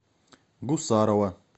гусарова